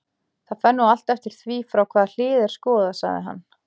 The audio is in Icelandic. Það fer nú allt eftir því frá hvaða hlið er skoðað, sagði hann.